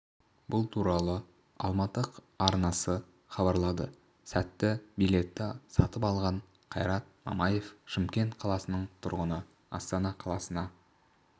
бұл туралы алматы арнасы хабарлады сәтті билетті сатып алған қайрат мамаев шымкент қаласының тұрғыны астана қаласына